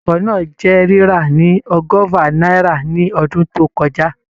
Ọkọ̀ náà jẹ́ rírà ní ọgọ́fà náírà ní ọdún tó kọjá